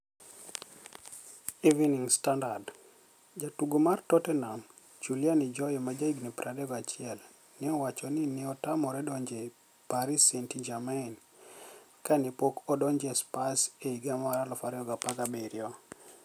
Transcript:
(Eveniinig Stanidard) Jatugo mar Totteniham, Juliani joy , ma jahiginii 21, ni e owach nii ni e otamore donijo e Paris Saainit-Germaini kani e pok odonijo e Spurs e higa mar 2017.